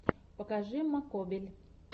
покажи маккобель